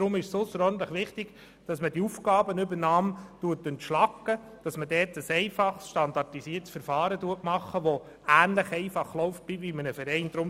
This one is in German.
Deshalb ist es ausserordentlich wichtig, die Aufgabenübernahme zu entschlacken und ein einfaches, standardisiertes Verfahren einzuführen, welches ähnlich einfach abläuft wie bei einem Verein.